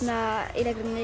í leikritinu